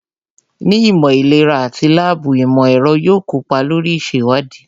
Ní ìmọ̀ ìlera àti láàbù, ìmọ̀ ẹ̀rọ yóò kópa lórí ìṣèwádìí